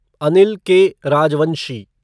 Anil K. Rajvanshi